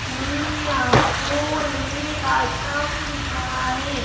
समे आपको एक आश्रम दिख रहा है।